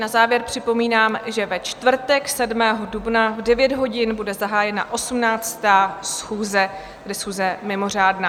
Na závěr připomínám, že ve čtvrtek 7. dubna v 9 hodin bude zahájena 18. schůze, tedy schůze mimořádná.